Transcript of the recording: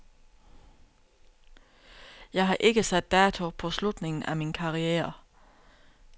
Jeg har ikke sat dato på slutningen af min karriere.